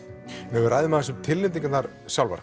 ef við ræðum tilnefningarnar sjálfar